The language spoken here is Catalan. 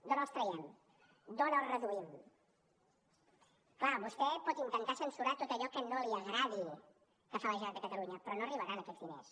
d’on els traiem d’on el reduïm clar vostè pot intentar censurar tot allò que no li agradi que fa la generalitat de catalunya però no arribaran aquests diners